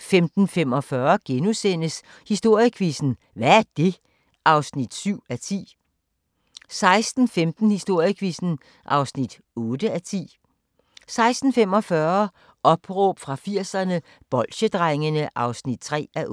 15:45: Historiequizzen: Hvad er det? (7:10)* 16:15: Historiequizzen (8:10) 16:45: Opråb fra 80'erne – Bolsjedrengene (3:8)